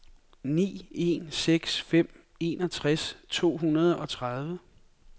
ni en seks fem enogtres to hundrede og tredive